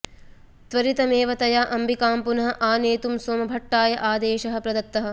त्वरितमेव तया अम्बिकां पुनः आनेतुं सोमभट्टाय आदेशः प्रदत्तः